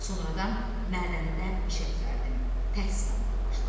Sonradan mədəndə işə düzəldim, təhsil almağa başladım.